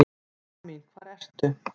Mamma mín hvar ertu?